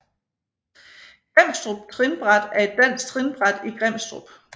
Grimstrup Trinbræt er et dansk trinbræt i Grimstrup